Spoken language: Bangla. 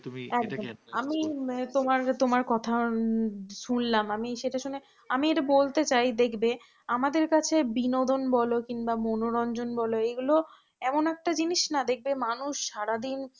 কথা শুনলাম, আমি এটা শুনে আমি বলতে চাই দেখবে আমাদের কাছে বিনোদন বল কিংবা মনোরঞ্জন বল এগুলো এমন একটা জিনিস না দেখবে মানুষ সারাদিন